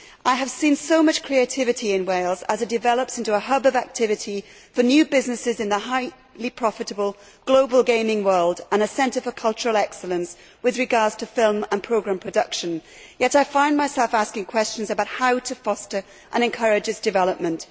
I have seen so much creativity in Wales, as it develops into a hub of activity for new businesses in the highly profitable global gaming world and a centre for cultural excellence with regard to film and programme production, yet I find myself asking questions about how to foster and encourage this development.